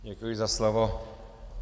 Děkuji za slovo.